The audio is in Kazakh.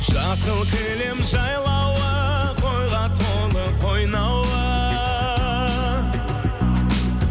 жасыл кілем жайлауы қойға толы қойнауы